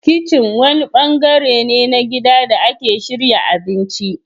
Kitchen wani bangare ne na gidan da ake shirya abinci.